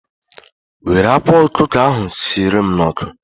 Were akwa ọkụkọ ahụ sierem n'ọkụ